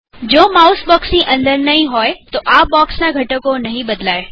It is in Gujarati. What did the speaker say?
જો માઉસ બોક્ષની અંદર નહિ હોય તો આ બોક્ષના ઘટકો નહીં બદલાય